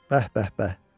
Bəh-bəh-bəh.